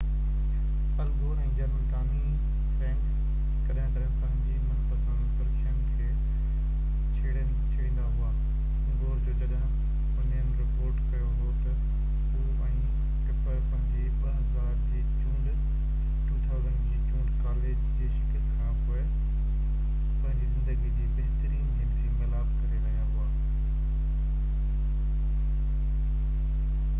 ال Gore ۽ general Tommy Franks ڪڏهن ڪڏهن پنهنجي منپسند سرخين کي ڇيڙيندا هئا گور جو جڏهن اونين رپورٽ ڪيو هو ته هو ۽ ٽپر پنهنجي 2000 جي چونڊ ڪاليج جي شڪست کانپوءِ پنهنجي زندگي جي بهترين جنسي ميلاپ ڪري رهيا هئا